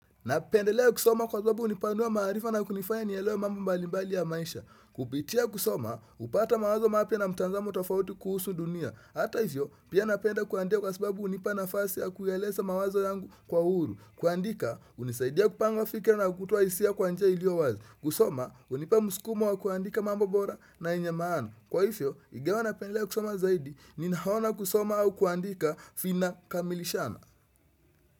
Napendelea kusoma kwa sababu hunipanua maarifa na kunifanya nielewe mambo mbalimbali ya maisha. Kupitia kusoma, hupata mawazo mapya na mtazamo tofauti kuhusu dunia. Hata hivyo, pia napenda kwa sababu hunipa nafasi ya kueleza mawazo yangu kwa huru. Kuandika, hunisaidia kupanga fikra na kutoa hisia kwa njia iliyo wazi. Kusoma, hunipa muskumo wa kuandika mambo bora na yenye maana. Kwa hivyo, ingawa napendelea kusoma zaidi, ninaona kusoma au kuandika vina kamilishana.